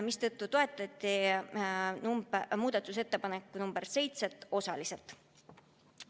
Seega toetati muudatusettepanekut nr 7 osaliselt.